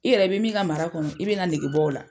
I yɛrɛ i bɛ min ka mara kɔnɔ i bɛna na nege bɔ o la.